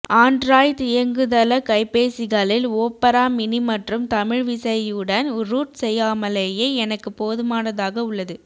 ஆண்ட்ராய்த் இயங்குதள கைபேசிகளில் Opera mini மற்றும் தமிழ்விசையுடன் ரூட் செய்யாமலேயே எனக்கு போதுமானதாக உள்ளது